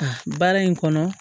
A baara in kɔnɔ